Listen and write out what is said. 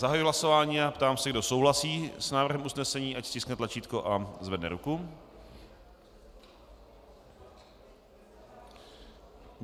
Zahajuji hlasování a ptám se, kdo souhlasí s návrhem usnesení, ať stiskne tlačítko a zvedne ruku.